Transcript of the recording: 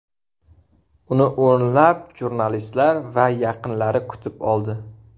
Uni o‘nlab jurnalistlar va yaqinlari kutib oldi .